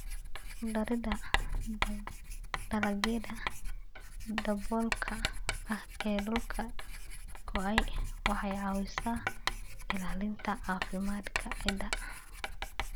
Ku darida dalagyada daboolka ah ee dhulka go'ay waxay caawisaa ilaalinta caafimaadka ciidda.